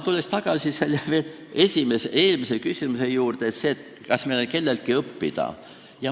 Tulen tagasi eelmise küsimuse juurde, kas meil on kelleltki õppida.